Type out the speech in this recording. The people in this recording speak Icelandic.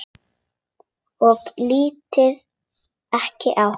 Og lít ekki á hana.